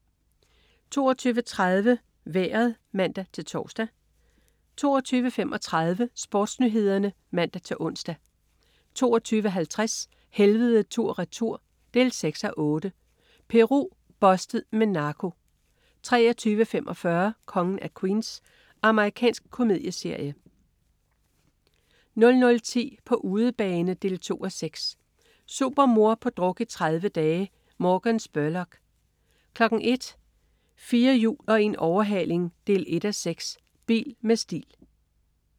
22.30 Vejret (man-tors) 22.35 SportsNyhederne (man-ons) 22.50 Helvede tur/retur 6:8. Peru. "Bustet" med narko 23.45 Kongen af Queens. Amerikansk komedieserie 00.10 På udebane 2:6. Supermor på druk i 30 dage. Morgan Spurlock 01.00 4 hjul og en overhaling 1:6. Bil med stil